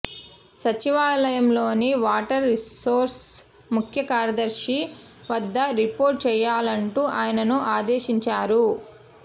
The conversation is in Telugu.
సచివాలయంలోని వాటర్ రీసోర్సెస్ ముఖ్యకార్యదర్శి వద్ద రిపోర్ట్ చేయాలంటూ ఆయనను ఆదేశించారు